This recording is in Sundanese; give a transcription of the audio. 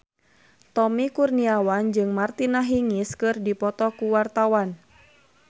Tommy Kurniawan jeung Martina Hingis keur dipoto ku wartawan